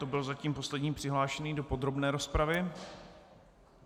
To byl zatím poslední přihlášený do podrobné rozpravy.